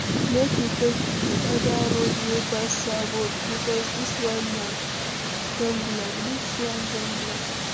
Make we take di oda road wey pass Sabo, bikos dis one don block.